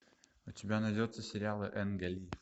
у тебя найдется сериалы энга ли